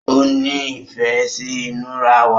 òní ìfé sí inura wá.